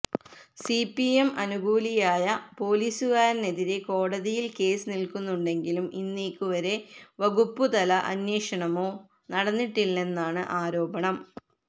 CPM അനുകൂലിയായ പൊലിസുകാരനെതിരെ കോടതിയിൽ കേസ് നിൽക്കുന്നുണ്ടെങ്കിലും ഇന്നേക്കു വരെ വകുപ്പുതല അന്വേഷണമോ നടന്നിട്ടില്ലെന്നാണ് ആരോപണം